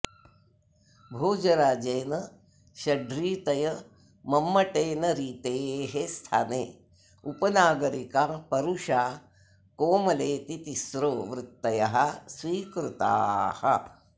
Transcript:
भोजराजेन षड्रीतय मम्मटेन रीतेः स्थाने उपनागरिका परुषा कोमलेति तिस्त्रो वृत्तयः स्वीकृताः